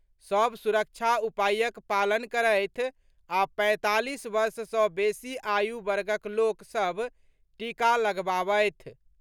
सभ सुरक्षा उपायक पालन करथि आ पैंतालीस वर्ष सँ बेसी आयु वर्गक लोक सभ टीका लगबावथि।